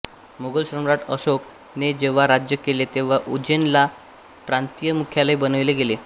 मुघल सम्राट अशोक ने जेव्हा राज्य केले तेव्हा उज्जैन ला प्रांतीय मुख्यालय बनविले गेले